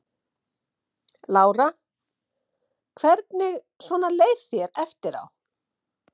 Lára: Hvernig svona leið þér eftir á?